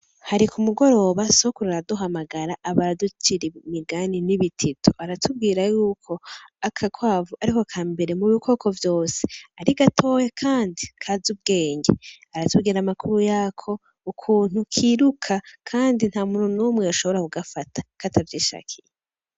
Hariko umugoroba sokuru araduhamagara aba araducira imigani n'ibitito aratubwira yuko aka kwavu, ariko ka mbere mu bikoko vyose arigatowe, kandi kaza ubwenge aratugira amakuru yako ukuntu kiruka, kandi nta muntu nomwe yashobora kugafata ko atavyishakiye.